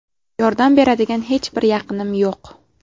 Yordam beradigan hech bir yaqinim yo‘q.